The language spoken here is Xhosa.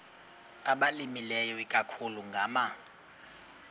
abalimileyo ikakhulu ngama